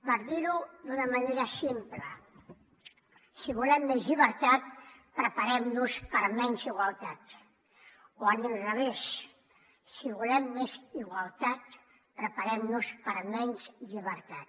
per dir ho d’una manera simple si volem més llibertat preparem nos per a menys igualtat o a l’inrevés si volem més igualtat preparem nos per a menys llibertat